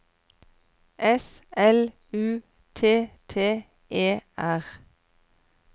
S L U T T E R